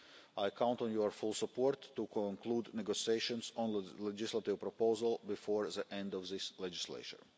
I count on your full support to conclude negotiations on the legislative proposal before the end of this legislature.